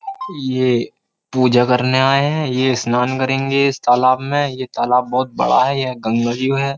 ये पूजा करने आए हैं यह स्नान करेंगे इस तालाब में यह तालाब बहुत बड़ा है यह गंगा जीव है।